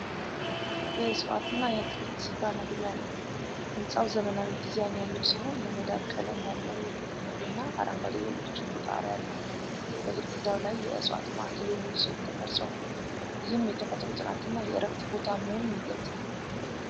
የዕፅዋትና የአትክልት ስፍራ መግቢያ ነው። ሕንፃው ዘመናዊ ዲዛይን ያለው ሲሆን፣ የመዳብ ቀለም ያለው የፊት ክፍልና አረንጓዴ የብርጭቆ ጣሪያ አለው። በግድግዳው ላይ የእፀዋት ማዕከል የሚል ጽሑፍ ተቀርጿል። ይህም የተፈጥሮ ጥናትና የእረፍት ቦታ መሆኑን ይገልጻል።